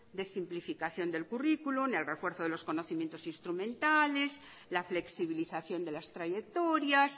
de simplificación del currículum el refuerzo de los conocimientos instrumentales la flexibilización de las trayectorias